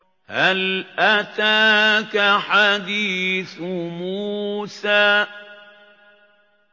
هَلْ أَتَاكَ حَدِيثُ مُوسَىٰ